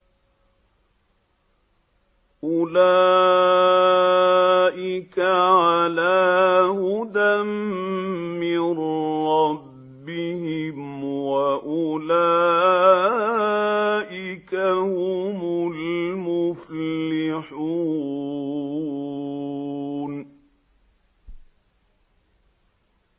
أُولَٰئِكَ عَلَىٰ هُدًى مِّن رَّبِّهِمْ ۖ وَأُولَٰئِكَ هُمُ الْمُفْلِحُونَ